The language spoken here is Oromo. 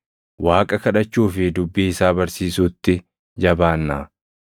Waaqa kadhachuu fi dubbii isaa barsiisuutti jabaannaa.”